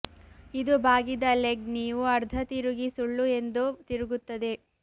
ಇದು ಬಾಗಿದ ಲೆಗ್ ನೀವು ಅರ್ಧ ತಿರುಗಿ ಸುಳ್ಳು ಎಂದು ತಿರುಗುತ್ತದೆ